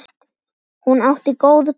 Hún átti góð börn.